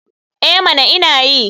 Eh mana ina yi.